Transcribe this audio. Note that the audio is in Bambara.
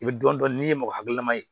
I bɛ dɔn dɔn n'i ye mɔgɔ hakililama ye